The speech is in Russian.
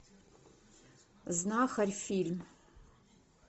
знахарь фильм